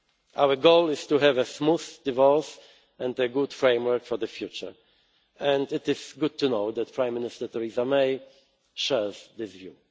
not work. Our goal is to have a smooth divorce and a good framework for the future, and it is good to know that Prime Minister Theresa May shares this